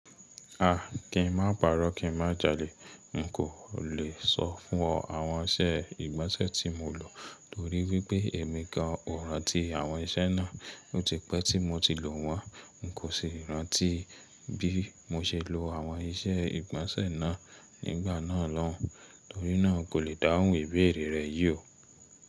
A, kí n má pàrọ́ kí n má jalè, n kò le sọ fún ọ àwọn iṣẹ́ ìgbọ̀nsẹ̀ tí mo lò torí wípé èmi kan ò rántí àwọn iṣẹ́ náà bó ti pẹ́ tí mo ti lò wọ́n, n kò ṣe rántí bí mo ṣe lo àwọn iṣẹ́ ìgbọ̀nsẹ̀ náà nígbà náà lóun, torí náà kò le dáhùn ìbéèrè rẹ̀ yí o.